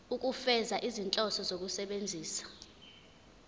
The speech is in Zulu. ukufeza izinhloso zokusebenzisa